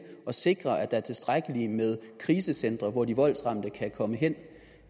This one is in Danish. at sikre at der er tilstrækkeligt med krisecentre hvor de voldsramte kan komme hen